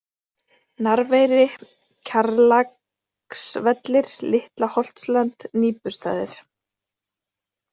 Narfeyri, Kjarlaksvellir, Litla-Holtsland, Nýpustaðir